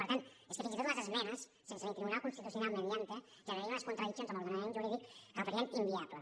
per tant és que fins i tot les esmenes sense ni tribunal constitucional mediante generaria unes contradiccions amb l’ordenament jurídic que el farien inviable